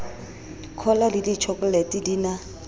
cola le ditjhokolete di na